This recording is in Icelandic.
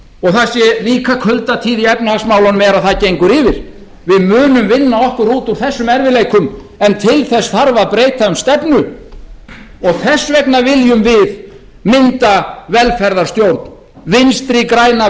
og það sé líka kuldatíð í efnahagsmálunum er að það gengur yfir við munum vinna okkur út úr þessum erfiðleikum en til þess þarf að breyta um stefnu þess vegna viljum við mynda velferðarstjórn vinstri græna